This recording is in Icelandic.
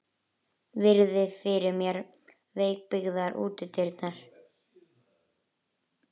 Virði fyrir mér veikbyggðar útidyrnar.